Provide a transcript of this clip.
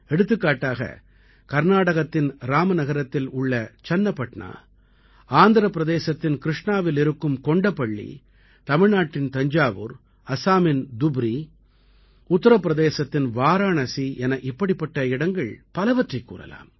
எடுத்துக்காட்டாக கர்நாடகத்தின் ராமநகரத்தில் உள்ள சன்னபட்னா ஆந்திரப் பிரதேசத்தின் கிருஷ்ணாவில் இருக்கும் கொண்டப்பள்ளி தமிழ்நாட்டின் தஞ்சாவூர் அஸாமின் துப்ரி உத்திர பிரதேசத்தின் வாராணசி என இப்படிப்பட்ட இடங்கள் பலவற்றைக் கூறலாம்